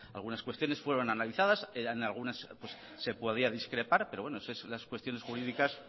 algunas cuestiones fueron analizadas en algunas se podía discrepar pero bueno eso es las cuestiones jurídicas